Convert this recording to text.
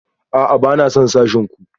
A'a, ba na son sashen ku